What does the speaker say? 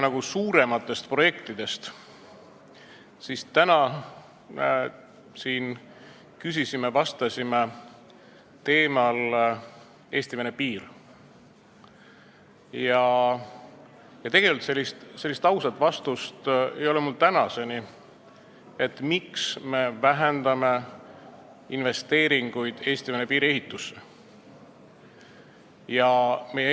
Kui jutt on suurematest projektidest, siis täna sai küsitud-vastatud teemal "Eesti-Vene piir", aga ausat vastust, miks me vähendame investeeringuid Eesti-Vene piiri ehitusse, ikkagi pole.